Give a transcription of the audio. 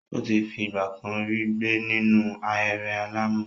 Ó ti fi ìgbà kan rí gbé nínú ahéré alàmọ̀.